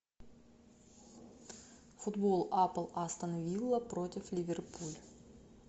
футбол апл астон вилла против ливерпуль